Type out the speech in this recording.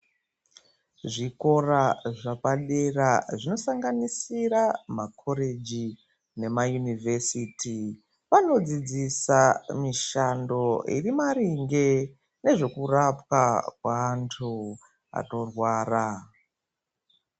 Zvikora zvepadera zvasanganisira makoreji nema yunivhesiti vanodzidzisa mishando iri maringe nezvokurapwa kwaantu anorwara.